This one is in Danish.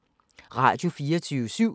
Radio24syv